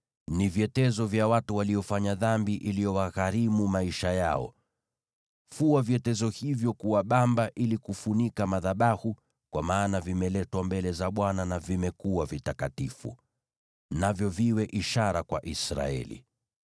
vyetezo vya watu waliofanya dhambi iliyowagharimu maisha yao. Fua vyetezo hivyo kuwa bamba ili kufunika madhabahu, kwa maana vimeletwa mbele za Bwana na vimekuwa vitakatifu. Navyo viwe ishara kwa Waisraeli.”